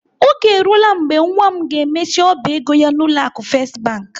Oge eruola mgbe nwa m ga-emechi ọba ego ya n'ụlọ akụ First Bank.